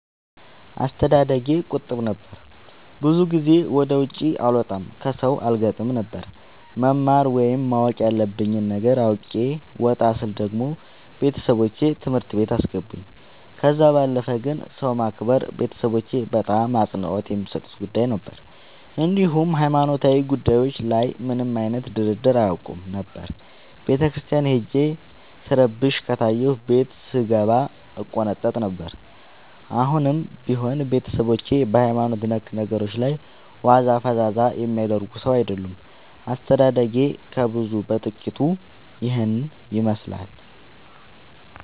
አስተዳደጌ ቁጥብ ነበር። ብዙ ጊዜ ወደ ውጪ አልወጣም ከሠው አልገጥምም ነበር። መማር ወይም ማወቅ ያለብኝ ነገር አውቄ ወጣ ስል ደግሞ ቤተሠቦቼ ትምህርት ቤት አስገቡኝ። ከዛ ባለፈ ግን ሰው ማክበር ቤተሠቦቼ በጣም አፅንኦት የሚሠጡት ጉዳይ ነበር። እንዲሁም ሀይማኖታዊ ጉዳዮች ላይ ምንም አይነት ድርድር አያውቁም ነበር። ቤተክርስቲያን ሄጄ ስረብሽ ከታየሁ ቤት ስንገባ እቆነጠጥ ነበር። አሁንም ቢሆን ቤተሠቦቼ በሀይማኖት ነክ ነገሮች ላይ ዋዛ ፈዛዛ የሚያደርግ ሠው አይወዱም። አስተዳደጌ ከብዙው በጥቂቱ ይህን ይመሥላል።